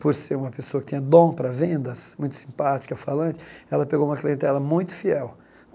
por ser uma pessoa que tinha dom para vendas, muito simpática, falante, ela pegou uma clientela muito fiel.